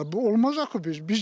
Bu olmaz axı biz?